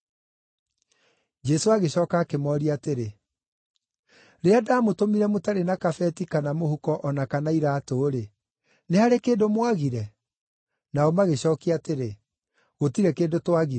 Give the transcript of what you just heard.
Jesũ agĩcooka akĩmooria atĩrĩ, “Rĩrĩa ndamũtũmire mũtarĩ na kabeti, kana mũhuko, o na kana iraatũ-rĩ, nĩ harĩ kĩndũ mwagire?” Nao magĩcookia atĩrĩ, “Gũtirĩ kĩndũ twagire.”